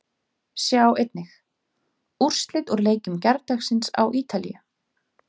Sjá einnig: Úrslit úr leikjum gærdagsins á Ítalíu